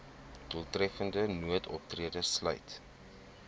doeltreffende noodoptrede sluit